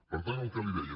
per tant el que li deia